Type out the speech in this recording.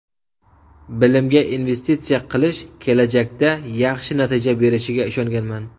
Bilimga investitsiya qilish kelajakda yaxshi natija berishiga ishonganman.